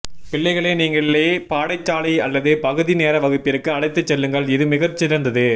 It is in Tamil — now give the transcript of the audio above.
பிள்ளைகளை நீங்களே பாடசாலை அல்லது பகுதி நேர வகுப்பிற்கு அழைத்துச் செல்லுங்கள் இது மிகச்சிறந்தது